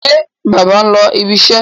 Ṣé bàbá ń lọ ibiṣẹ́?